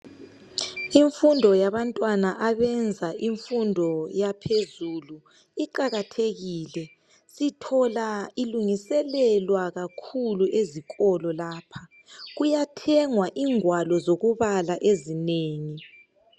Imfundo yabantwaba abenza imfundo yaphezulu iqakathekile sithola ilungiselelwa kakhulu ezikolo lapha. Kuyathengwa ingwalo zokubala ezinengi.